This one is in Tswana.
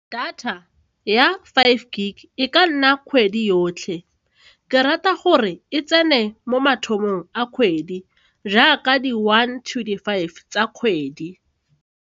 Data ya five G e ka nna kgwedi yotlhe ke rata gore e tsene mo mathomong a kgwedi jaaka di-one to di-five tsa kgwedi.